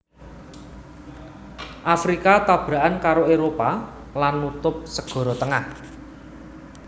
Afrika tabrakan karo Éropah lan nutup Sagara Tengah